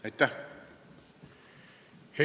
Aitäh!